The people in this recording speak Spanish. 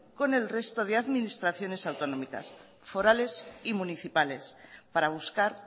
con el resto de administraciones autonómicas forales y municipales para buscar